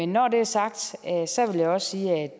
når det er sagt vil jeg også sige at